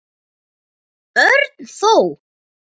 Örn þó.